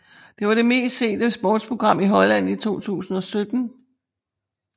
Det var det mest sete sportsprogram i Holland i 2017